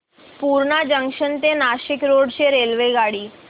Purna junction ते Nashik road ची रेल्वेगाडी